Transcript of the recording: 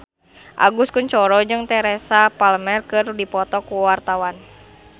Agus Kuncoro jeung Teresa Palmer keur dipoto ku wartawan